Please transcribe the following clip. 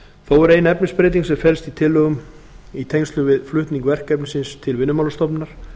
þó er ein efnisbreyting sem felst í tillögum í tengslum við flutning verkefnisins til vinnumálastofnunar